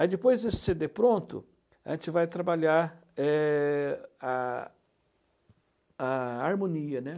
Aí depois desse cê dê pronto, a gente vai trabalhar é a a harmonia, né.